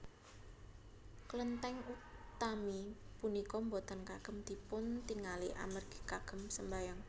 Klentèng utami punika boten kagem dipuntingali amargi kagem sembahyang